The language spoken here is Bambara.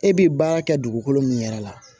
E bi baara kɛ dugukolo min yɛrɛ la